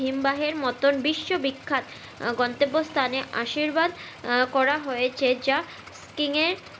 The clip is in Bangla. হিমবাহের মতো বিশ্ব বিখ্যাত আহ গন্তব্য স্থানে আশীর্বাদ আহ করা হয়েছে যা skiing এ এর